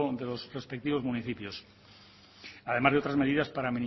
crecimiento de los respectivos municipios además de otras medidas